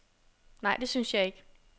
Nej, det synes jeg ikke.